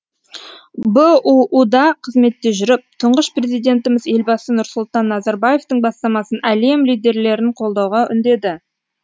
бұұ да қызметте жүріп тұңғыш президентіміз елбасы нұрсұлтан назарбаевтың бастамасын әлем лидерлерін қолдауға үндеді